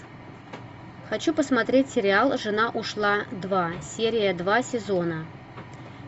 хочу посмотреть сериал жена ушла два серия два сезона